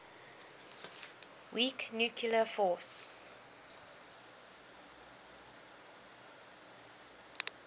weak nuclear force